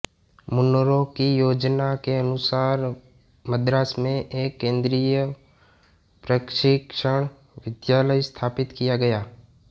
Munro की योजना के अनुसार मद्रास में एक केन्द्रीय प्रशिक्षण विद्यालय स्थापित किया गया